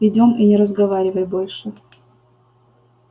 идём и не разговаривай больше